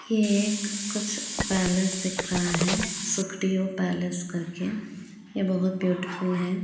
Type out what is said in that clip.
ये एक कुछ पैलेस दिख रहा है सुप्रीयो पैलेस करके ये बहुत ब्यूटीफुल है।